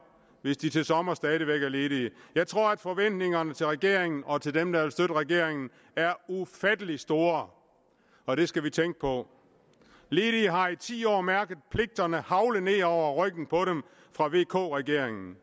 hvis de til sommer stadig væk er ledige jeg tror at forventningerne til regeringen og til dem der regeringen er ufattelig store og det skal vi tænke på ledige har i ti år mærket pligterne hagle ned over ryggen på dem fra vk regeringens